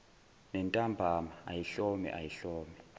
nentambama ayihlome ayihlome